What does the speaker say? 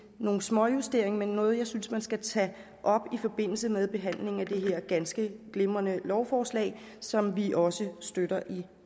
nogle småjusteringer men noget jeg synes man skal tage op i forbindelse med behandlingen af det her ganske glimrende lovforslag som vi også støtter i